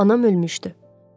Anam ölmüşdü.